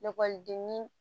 Lakɔlidenni